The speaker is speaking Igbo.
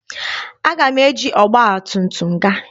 Aga m eji ọgba tum tum gaa.